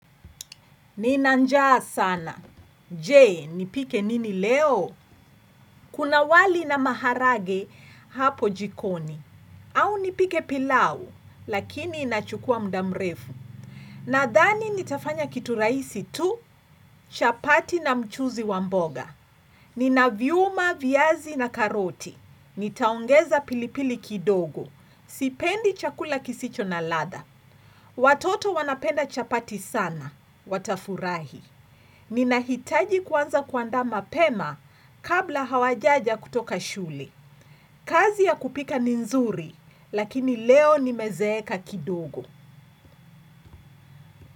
Nina njaa sana. Je, nipike nini leo? Kuna wali na maharage hapo jikoni. Au nipike pilau, lakini inachukua mda mrefu. Nadhani nitafanya kitu raisi tu, chapati na mchuzi wa mboga. Nina njaa sana. Jee, nipike nini leo? Nitaongeza pilipili kidogo. Sipendi chakula kisicho na ladha. Watoto wanapenda chapati sana, watafurahi. Ninahitaji kwanza kuanda mapema kabla hawajaja kutoka shule. Kazi ya kupika ni nzuri, lakini leo nimezeeka kidogo.